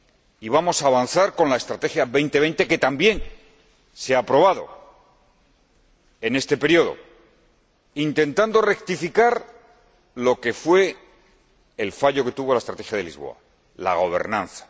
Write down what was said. Y vamos a avanzar con la Estrategia Europa 2020, que también se ha aprobado en este período, intentando rectificar el fallo que tuvo la Estrategia de Lisboa la gobernanza.